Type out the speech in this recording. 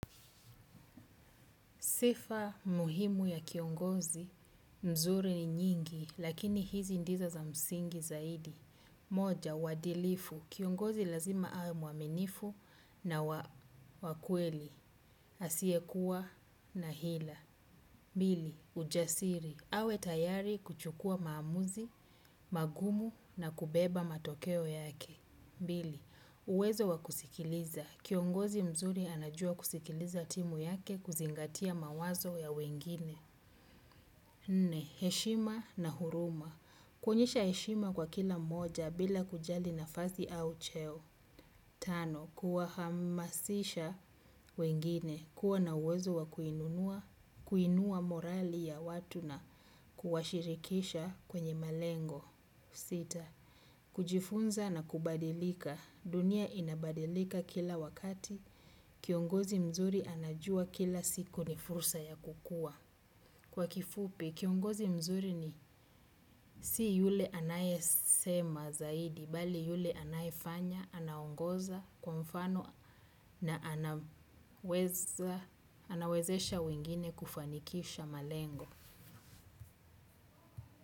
Sifa muhimu ya kiongozi. Nzuri ni nyingi, lakini hizi ndizo za msingi zaidi. Moja, uadilifu. Kiongozi lazima awe mwaminifu na wa kweli. Asiekuwa na hila. Pili ujasiri, awe tayari kuchukua maamuzi magumu na kubeba matokeo yake. Bili, uwezo wa kusikiliza. Kiongozi mzuri anajua kusikiliza timu yake kuzingatia mawazo ya wengine. Nne, heshima na huruma. Kuonyesha heshima kwa kila moja bila kujali nafasi au cheo. Tano, kuwahamasisha wengine. Kuwa na uwezo wa kuinua morali ya watu na kuwashirikisha kwenye malengo sita. Kujifunza na kubadilika. Dunia inabadilika kila wakati. Kiongozi mzuri anajua kila siku ni fursa ya kukua. Kwa kifupi, kiongozi mzuri si yule anayesema zaidi, bali yule anayefanya, anaongoza kwa mfano na anawezesha wengine kufanikisha malengo.